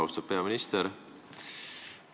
Austatud peaminister!